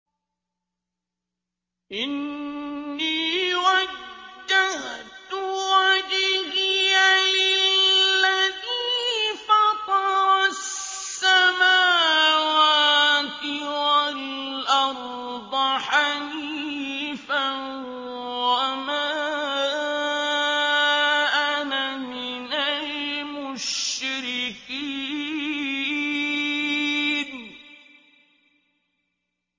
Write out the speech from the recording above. إِنِّي وَجَّهْتُ وَجْهِيَ لِلَّذِي فَطَرَ السَّمَاوَاتِ وَالْأَرْضَ حَنِيفًا ۖ وَمَا أَنَا مِنَ الْمُشْرِكِينَ